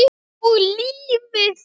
Og lífið.